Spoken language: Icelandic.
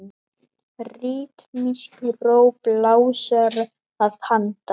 Ritmísk ró blásara að handan.